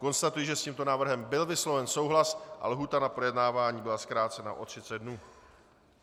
Konstatuji, že s tímto návrhem byl vysloven souhlas a lhůta na projednávání byla zkrácena o 30 dnů.